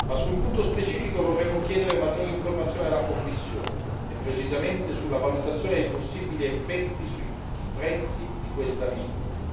Su un punto specifico vorremmo chiedere maggiori informazioni alla Commissione, e precisamente sulla valutazione dei possibili effetti sui prezzi di questa misura.